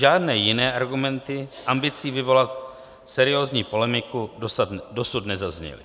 Žádné jiné argumenty s ambicí vyvolat seriózní polemiku dosud nezazněly.